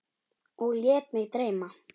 Og lét mig dreyma.